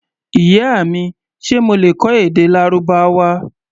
Ìyá mi, ṣe mo lè kọ́ èdè Lárúbáwá?